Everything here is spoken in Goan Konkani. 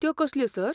त्यो कसल्यो, सर?